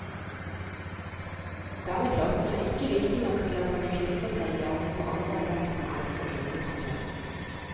Denne platen er ikke viktig nok til at den vil klistre seg i hjernen på andre enn dem som elsker gruppen fra før.